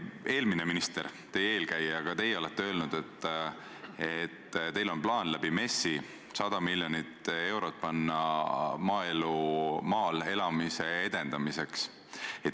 Eelmine minister, teie eelkäija, on öelnud ja ka teie olete öelnud, et teil on plaan MES-i kaudu 100 miljonit eurot eraldada maal elamise edendamiseks.